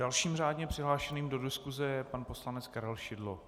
Dalším řádně přihlášeným do diskuse je pan poslanec Karel Šidlo.